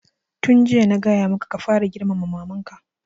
Tun jiya na gaya maka ka fara girmama maman ka!